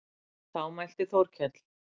Þá mælti Þórkell